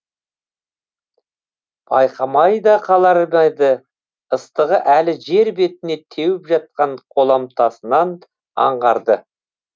байқамай да қалар ма еді ыстығы әлі жер бетіне теуіп жатқан қоламтасынан аңғарды